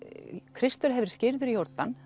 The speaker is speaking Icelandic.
Kristur hafi verið skírður í Jórdan